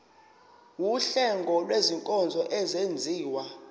wuhlengo lwezinkonzo ezenziwa